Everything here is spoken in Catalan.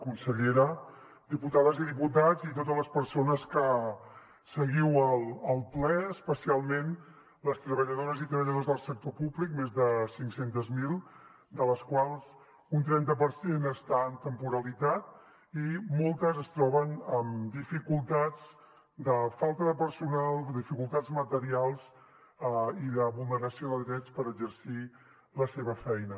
consellera diputades i diputats i totes les persones que seguiu el ple especialment les treballadores i treballadors del sector públic més de cinc cents miler de les quals un trenta per cent està en temporalitat i moltes es troben amb dificultats de falta de personal dificultats materials i de vulneració de drets per exercir la seva feina